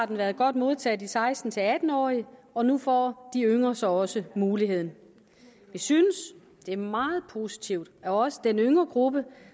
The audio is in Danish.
den blevet godt modtaget af de seksten til atten årige og nu får de yngre så også muligheden vi synes det er meget positivt at også den yngre gruppe